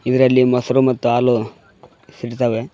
ಇದರಲ್ಲಿ ಮೊಸರು ಮತ್ತು ಹಾಲು ಸಿಗ್ತವೆ.